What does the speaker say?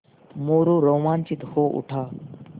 मोरू रोमांचित हो उठा